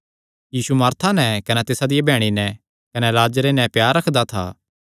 यीशु Martha नैं कने तिसा दिया बैह्णी नैं कने लाजरे नैं प्यार रखदा था